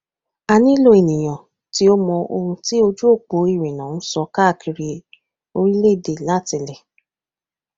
a nilo eniyan ti o mọ ohun ti ojuopo irinna n sọ kaakiri orilẹede latilẹ